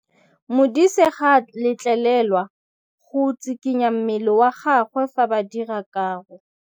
Modise ga a letlelelwa go tshikinya mmele wa gagwe fa ba dira karô.